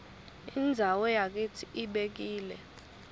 indzawo yakitsi ibekile